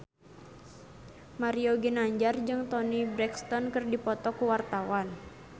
Mario Ginanjar jeung Toni Brexton keur dipoto ku wartawan